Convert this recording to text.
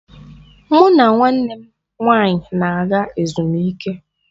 Mụ na nwanne m nwaanyị n'aga ezumike.